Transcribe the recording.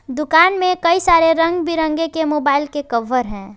दुकान में कई सारे रंग बिरंगे के मोबाइल के कवर हैं।